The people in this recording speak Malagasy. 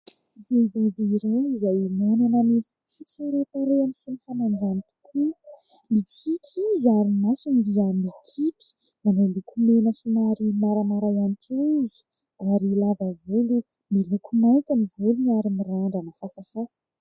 Vehivavy iray izay manana ny hatsaran-tarehany sy ny hamanjany tokoa ; mitsiky izy ary ny masony dia mikipy ; manao lokomena somary maramara ihany koa izy ary lava volo miloko mainty ny volony ary mirandra hafahafa.